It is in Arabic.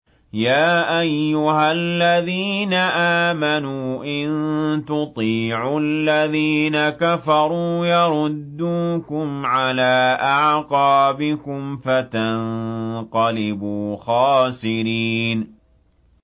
يَا أَيُّهَا الَّذِينَ آمَنُوا إِن تُطِيعُوا الَّذِينَ كَفَرُوا يَرُدُّوكُمْ عَلَىٰ أَعْقَابِكُمْ فَتَنقَلِبُوا خَاسِرِينَ